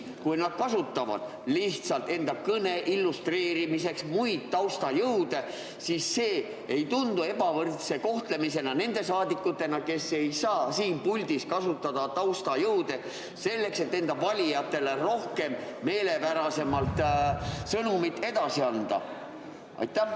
Ja kui nad kasutavad enda kõne illustreerimiseks muid taustajõude, siis kas see ei tundu ebavõrdse kohtlemisena nende rahvasaadikute suhtes, kes ei saa siin puldis taustajõude kasutada, et valijatele meelepärasemal viisil sõnumit edasi anda?